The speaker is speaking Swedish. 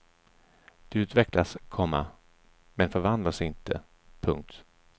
De utvecklas, komma men förvandlas inte. punkt